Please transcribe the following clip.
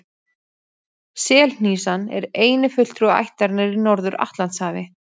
Selhnísan er eini fulltrúi ættarinnar í Norður-Atlantshafi.